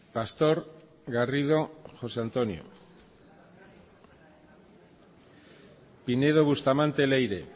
pastor garrido josé antonio pinedo bustamante leire